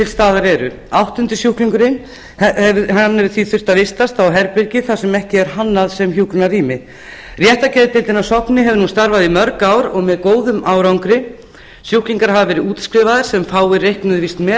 staðar eru áttundi sjúklingurinn hefur því þurft að vistast á herbergi sem ekki er hannað sem hjúkrunarrými réttargeðdeildin á sogni hefur starfað í mörg ár og með góðum árangri sjúklingar hafa verið útskrifaðir sem fáir reiknuðu víst með